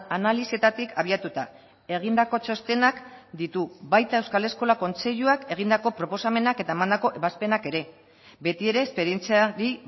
analisietatik abiatuta egindako txostenak ditu baita euskal eskola kontseiluak egindako proposamenak eta emandako ebazpenak ere beti ere esperientziari